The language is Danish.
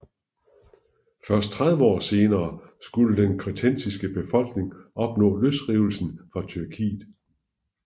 Først 30 år senere skulle den kretensiske befolkning opnå løsrivelsen fra Tyrkiet